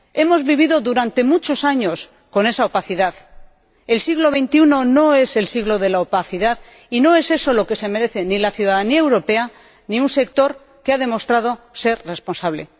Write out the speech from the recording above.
Hemos vivido durante muchos años con esa opacidad. El siglo XXI no es el siglo de la opacidad y no es eso lo que se merecen la ciudadanía europea ni un sector que ha demostrado ser responsable.